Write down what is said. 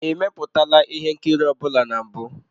Ị mepụtala ihe nkiri ọ bụla na mbụ?